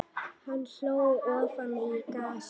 Hann hló ofan í grasið.